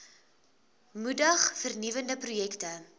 moedig vernuwende projekte